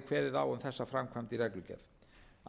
um þessa framkvæmd í reglugerð